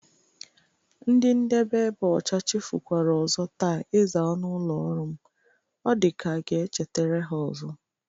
Ndị ndebe ebe ọcha chefukwara ọzọ taa ịza ọnụ ụlọ ọrụ m. Ọ dịka a ga-echetara ha ọzọ.